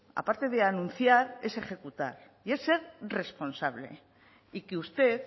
aparte de anunciar es ejecutar y es ser responsable y que usted